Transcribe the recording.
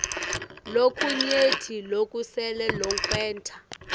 lokunyenti lokusele lokwenta